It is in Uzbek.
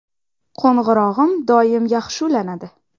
Qo‘ng‘irog‘im doim yaxshi ulanadi.